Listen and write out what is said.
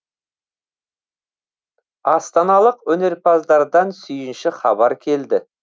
астаналық өнерпаздардан сүйінші хабар келді